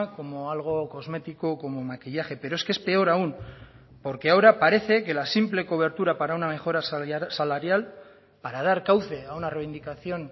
como algo cosmético como maquillaje pero es que es peor aún porque ahora parece que la simple cobertura para una mejora salarial para dar cauce a una reivindicación